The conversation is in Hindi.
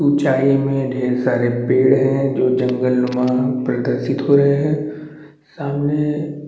ऊंचाई में ढेर सारे पेड़ है जो जंगलनुमा प्रदर्शित हो रहे है सामने--